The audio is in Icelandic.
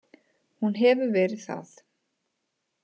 Hún hefur verið það.